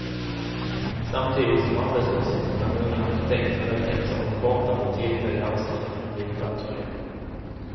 Samtidigt som arbetslösheten bland unga arkitekter ökat så har de kortare och tillfälliga anställningarna blivit allt fler.